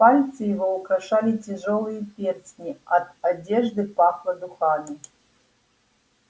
пальцы его украшали тяжёлые перстни от одежды пахло духами